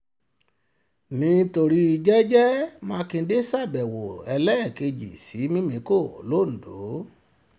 nítorí jẹ́gẹ́ mákindè ṣàbẹ̀wò ẹlẹ́ẹ̀kejì sí mímíkọ́ londo